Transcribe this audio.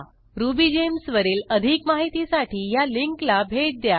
RubyGems वरील अधिक माहितीसाठी ह्या लिंकला भेट द्या